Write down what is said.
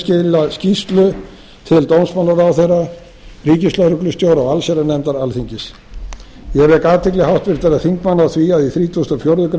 nefndin skila skýrslu til dómsmálaráðherra ríkislögreglustjóra og allsherjarnefndar alþingis ég vek athygli háttvirtra þingmanna á því að í þrítugasta og fjórðu grein